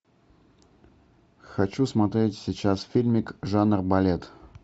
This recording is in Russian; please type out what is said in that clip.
хочу смотреть сейчас фильмик жанр балет